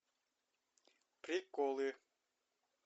приколы